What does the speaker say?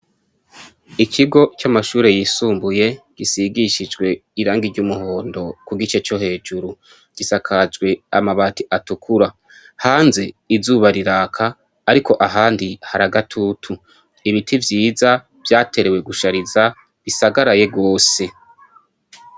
Ikigo c' amashure yisumbuye risigishijwe irangi ry' umuhondo ku gice co hejuru .Risakajwe amabati atukura . Hanze izuba riraka ,ariko ahandi hari agatutu. Ibiti vyiza ,vyatenewe gushatiza ,bisagaraye gose.